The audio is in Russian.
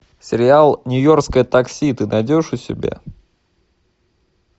сериал нью йоркское такси ты найдешь у себя